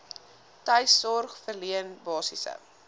tuissorg verleen basiese